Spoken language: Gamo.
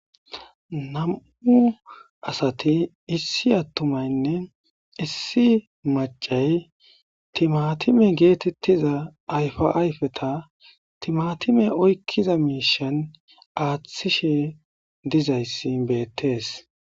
nam7u asati issi attumaynne issi macay timatime geetettiza ayfa ayfeta timatime oykkiza miishan aaththishe dizayssi beettees